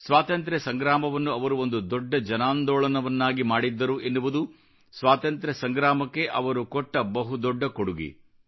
ಸ್ವಾತಂತ್ರ್ಯ ಸಂಗ್ರಾಮವನ್ನು ಅವರು ಒಂದು ದೊಡ್ಡ ಜನಾಂದೋಳನವನ್ನಾಗಿ ಮಾಡಿದ್ದರು ಎನ್ನುವುದು ಸ್ವಾತಂತ್ರ್ಯ ಸಂಗ್ರಾಮಕ್ಕೆ ಅವರು ಕೊಟ್ಟ ಬಹು ದೊಡ್ಡ ಕೊಡುಗೆ